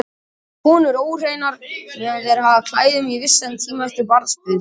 Þá eru konur óhreinar meðan þær hafa á klæðum og í vissan tíma eftir barnsburð.